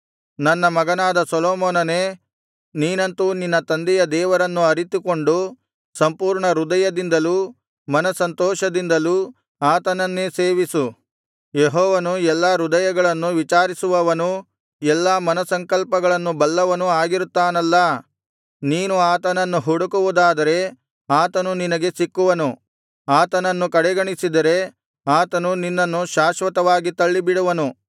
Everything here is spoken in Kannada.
ನನ್ನ ಮಗನಾದ ಸೊಲೊಮೋನನೇ ನೀನಂತೂ ನಿನ್ನ ತಂದೆಯ ದೇವರನ್ನು ಅರಿತುಕೊಂಡು ಸಂಪೂರ್ಣಹೃದಯದಿಂದಲೂ ಮನಸ್ಸಂತೋಷದಿಂದಲೂ ಆತನನ್ನೇ ಸೇವಿಸು ಯೆಹೋವನು ಎಲ್ಲಾ ಹೃದಯಗಳನ್ನು ವಿಚಾರಿಸುವವನೂ ಎಲ್ಲಾ ಮನಸ್ಸಂಕಲ್ಪಗಳನ್ನು ಬಲ್ಲವನೂ ಆಗಿರುತ್ತಾನಲ್ಲಾ ನೀನು ಆತನನ್ನು ಹುಡುಕುವುದಾದರೆ ಆತನು ನಿನಗೆ ಸಿಕ್ಕುವನು ಆತನನ್ನು ಕಡೆಗಣಿಸಿದರೆ ಆತನು ನಿನ್ನನ್ನು ಶಾಶ್ವತವಾಗಿ ತಳ್ಳಿಬಿಡುವನು